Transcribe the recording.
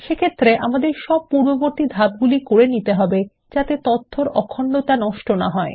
সেক্ষেত্রে আমাদের সব পূর্ববর্তী ধাপগুলি করে নিতে হবে হবে যাতে তথ্যৰ ইন্টিগ্রিটি নষ্ট না হয়